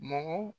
Mɔgɔ